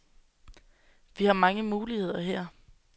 Vi har mange muligheder her.